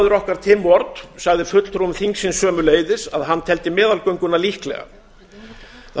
málflutningsmaður okkar tim ward sagði fulltrúum þingsins sömuleiðis að hann teldi meðalgönguna líklega það vill hins